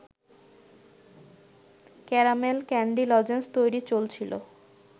caramel candy lozenges তৈরি চলছিল